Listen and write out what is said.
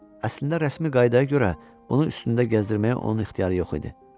əslində rəsmi qaydaya görə, bunu üstündə gəzdirməyə onun ixtiyarı yox idi.